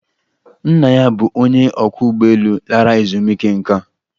Nna ya bụ onye ọkwọ ụgbọelu lara ezumike nká